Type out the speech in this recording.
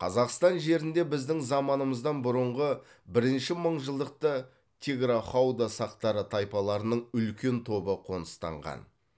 қазақстан жерінде біздің заманымыздан бұрынғы бірнші мыңжылдықта тиграхауда сақтары тайпаларының үлкен тобы қоныстанған